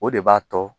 O de b'a to